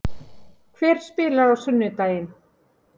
Hver spilar á sunnudaginn?